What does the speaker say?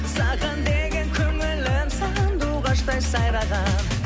саған деген көңілім сандуғаштай сайраған